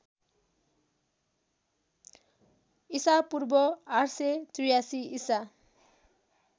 ईपू ८८३ ईसा